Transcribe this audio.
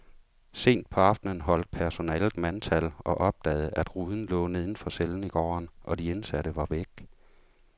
Sent på aftenen holdt personalet mandtal og opdagede, at ruden lå neden for cellen i gården, og de indsatte var væk.